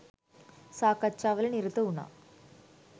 සාකච්ඡා වල නිරත වුනා.